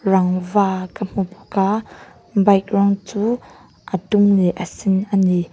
rangva ka hmu bawk a bike rawng chu a sen leh a dum ani.